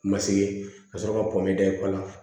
Ma se ka sɔrɔ ka pɔmɔdɛ ko la